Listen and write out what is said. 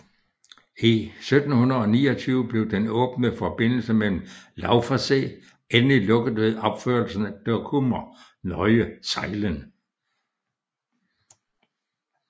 I 1729 blev den åbne forbindelse med Lauwerszee endelig lukket ved opførelsen af Dokkumer Nieuwe Zijlen